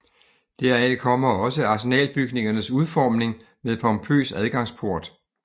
Deraf kommer også Arsenalbygningernes udformning med pompøs adgangsport